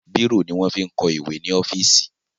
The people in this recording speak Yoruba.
Bírò ní wọn ń fi kọ ìwẹ́ ní ọ́fíìsì.